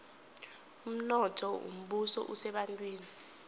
umnotho wombuso usebantwini